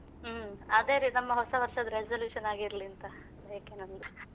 ಹ್ಮ್ ಅದೇ ರೀತಿ ನಮ್ಮ ಹೊಸವರ್ಷದ resolution ಹಾಗೆ ಇರ್ಲಿ ಅಂತ